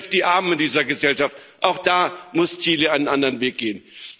All das trifft die Armen in dieser Gesellschaft. Auch da muss Chile einen anderen Weg gehen.